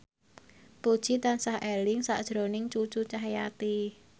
Puji tansah eling sakjroning Cucu Cahyati